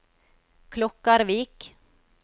Klokkarvik